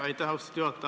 Aitäh, austatud juhataja!